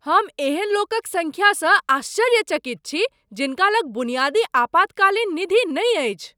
हम एहन लोकक संख्यासँ आश्चर्यचकित छी जिनका लग बुनियादी आपातकालीन निधि नहि अछि।